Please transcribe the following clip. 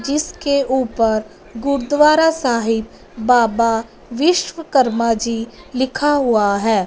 जिसके ऊपर गुरुद्वारा साहिब बाबा विश्वकर्मा जी लिखा हुआ है।